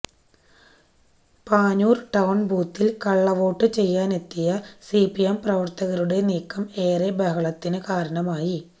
Panoor town ബൂത്തില് കളളവോട്ട് ചെയ്യാനെത്തിയ സിപിഎം പ്രവര്ത്തകരുടെ നീക്കം ഏറെ ബഹളത്തിന് കാരണമായി